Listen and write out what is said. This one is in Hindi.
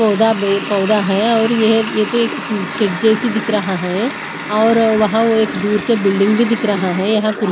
पौधा पौधा है और ये ये तो एक शेड जैसी दिख रहा है और वहां वो एक दूर से बिल्डिंग भी दिख रहा है यहां कुर्सी --